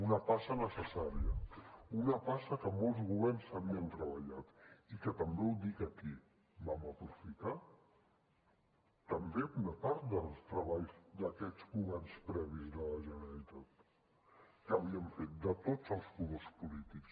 una passa necessària una passa que molts governs havien treballat i que també ho dic aquí vam aprofitar una part dels treballs d’aquests governs previs de la generalitat que havien fet de tots els colors polítics